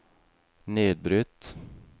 nedbrutt